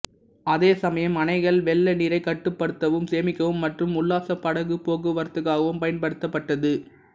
அதேசமயம் அணைகள் வெள்ள நீரை கட்டுப்படுத்தவும் சேமிக்கவும் மற்றும் உல்லாச படகு போக்குவரத்துக்காகவும் பயன்படுத்தப்பட்டது